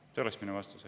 Selline oleks minu vastus.